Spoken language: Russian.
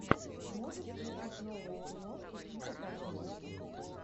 можешь включить новую киношку типа комедии